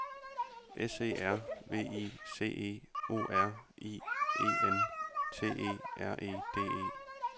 S E R V I C E O R I E N T E R E D E